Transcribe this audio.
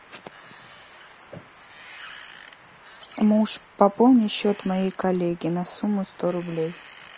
муж пополни счет моей коллеге на сумму сто рублей